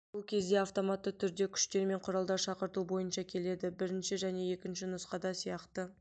бұл кезде автоматты түрде күштер мен құралдар шақырту бойынша келеді бірінші және екінші нұсқада сияқты